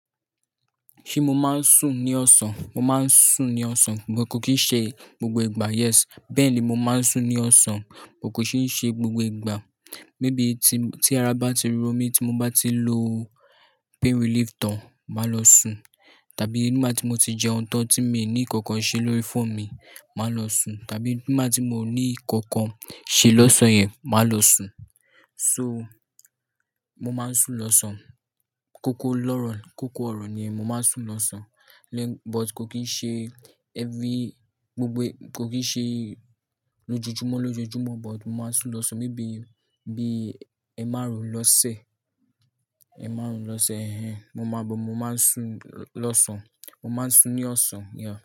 Ṣé mo máa ń sùn ní ọ̀sán? Mo máa ń sùn ní ọ̀sán but kò kì í ṣe gbogbo ìgbà. Yes bẹ́ẹ̀ni mo máa ń sùn ní ọ̀sán but kò kì ń ṣe gbogbo ìgbà. Maybe tí-tí ara bá ti ro mí tí mo bá ti lo pain relief tán, màá lọ sùn. Tàbí nígbà tí mo ti jẹun tán tí mi ní ǹkankan ṣe lórí phone mi, màá lọ sùn. Tàbí nígbà tí mo ní ǹkankan ṣe lọ́sàn yẹn, màá lọ sùn. So, mo máa ń sùn lọ́sàn. Kókó lọ́rọ̀, kókó ọ̀rọ̀ ni mo máa ń sùn lọ́sàn. But kò kì í ṣe every, gbogbo, kò kì í ṣe lójoojúmọ́ lójoojúmọ́ but mo máa ń sùn lọ́sàn maybe bií ẹemarun lọ́sẹ̀, ẹemáarùn lọ́sẹ̀. Mo máa ń but, mo máa ń sùn lọ́sàn. Mo máa ń sùn ní ọ̀sán, yeah.